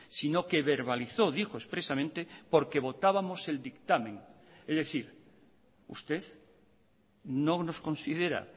sino que verbalizó dijo expresamente porque votábamos el dictamen es decir usted no nos considera